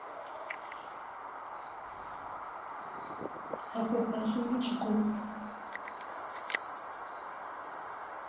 afho fhasi ni tshi khou